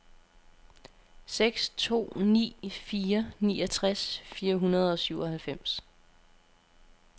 seks to ni fire niogtres fire hundrede og syvoghalvfems